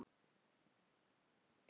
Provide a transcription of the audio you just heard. Allt í gegnum síma.